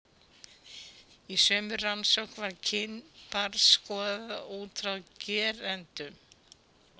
Í sömu rannsókn var kyn barns skoðað út frá gerendum.